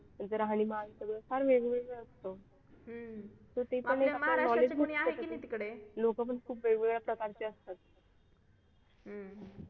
यांचं राहणीमान सगळं फार वेगवेगळे असतं लोक पण खूप वेगवेगळ्या प्रकारचे असतात.